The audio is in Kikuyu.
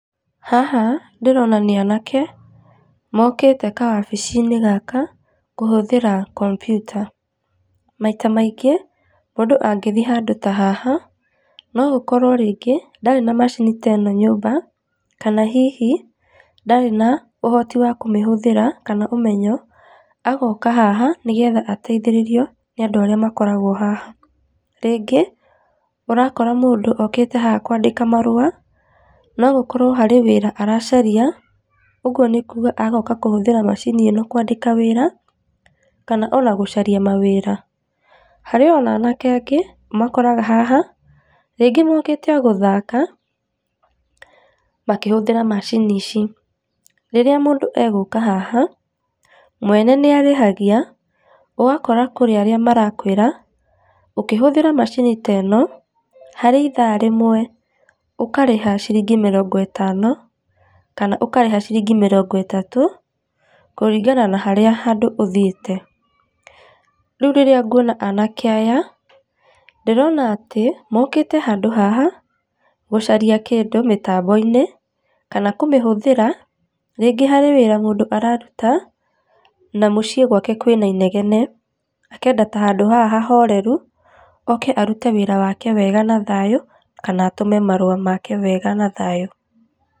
Haha ndĩrona nĩ anake, mokĩte ka wabici-inĩ gaka kũhũthĩra kompiuta. Maita maingĩ mũndũ angĩthĩe handũ ta haha no gũkorwo rĩngĩ ndarĩ na macini ta ĩno nyũmba kana hihi ndarĩ na ũhoti wa kũmĩhũthĩra kana ũmenyo agoka haha nĩgetha ateithĩrĩrio nĩ andũ arĩa makoragwo haha. Rĩngĩ, ũrakora mũndũ okĩte haha kwandĩka marũa no gũkorwo harĩ wĩra aracaria ũguo nĩ kuga agoka kũhũthĩra macini ĩno kwandĩka wĩra, kana ona gũcaria mawĩra. Harĩ ona anake angĩ ũmakoraga haha, rĩngĩ mokĩte o gũthaka makĩhũthĩra macini ici. Rĩrĩa mũndũ egũka haha mwene nĩ arĩhagia ũgakora kũrĩ arĩa marakwĩra ũkĩhũthĩra macini ta ĩno, harĩ ithaa rĩmwe ũkarĩha ciringi mĩrongo ĩtano kana ũkarĩha ciringi mĩrongo ĩtatũ kũringana na harĩa handũ ũthĩite. Rĩu rĩrĩa ngũona anake aya ndĩrona atĩ, mokĩte handũ haha gũcaria kĩndũ mĩtambo-inĩ kana kũmĩhũthĩra, rĩngĩ harĩ wĩra mũndũ araruta na mũcie gwake kwĩna inegene, akenda ta handũ haha hahoreru oke arute wĩra wake wega na thayũ kana atũme marũa make na thayũ.